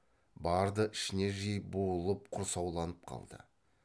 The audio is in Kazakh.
барды ішіне жиып буылып құрсауланып қалды